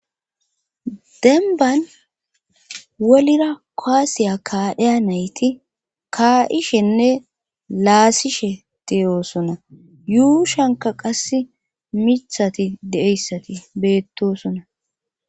denban wolira koasiya kaadheya nayti kaa7ishenne laasishe teyoosona yuu shanka qas mithati deeyssati beettosona